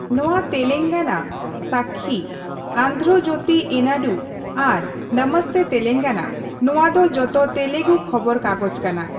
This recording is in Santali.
ᱱᱚᱣᱟ ᱛᱮᱞᱮᱝᱜᱟᱱᱟ, ᱥᱟᱠᱠᱷᱤ, ᱟᱱᱫᱷᱨᱚ ᱡᱳᱛᱤ ᱮᱱᱟᱰᱩ ᱟᱨ ᱱᱚᱢᱚᱥᱛᱮ ᱛᱮᱞᱮᱝᱜᱚᱱᱟ, ᱱᱚᱣᱟ ᱫᱚ ᱡᱚᱛᱚ ᱛᱮᱞᱮᱜᱩ ᱠᱷᱚᱵᱚᱨ ᱠᱟᱜᱚᱡᱽ ᱠᱟᱱᱟ ᱾